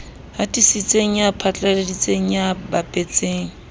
hatisitseng ya phatlaladitseng ya bapetseng